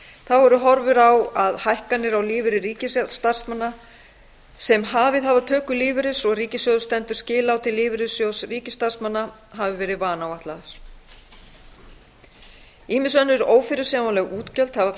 þá eru horfur á að hækkanir á lífeyri ríkisstarfsmanna sem hafið hafa töku lífeyris og ríkissjóður stendur skil á til lífeyrissjóðs ríkisstarfsmanna hafi verið vanáætlaðar ýmis önnur ófyrirsjáanleg útgjöld hafa